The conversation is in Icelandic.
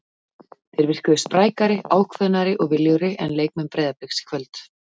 Þeir virkuðu sprækari, ákveðnari og viljugri en leikmenn Breiðabliks í kvöld.